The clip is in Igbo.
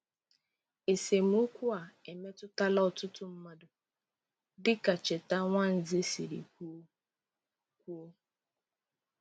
Esemokwu a emetụtala ọtụtụ mmadụ dịka Cheta Nwanze siri kwuo. kwuo.